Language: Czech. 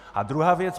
A druhá věc.